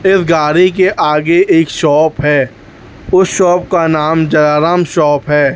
इस गाड़ी के आगे एक शॉप है उस शॉप का नाम जालाराम शॉप है।